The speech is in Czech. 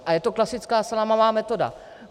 A je to klasická salámová metoda.